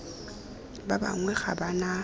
ba bangwe ga ba na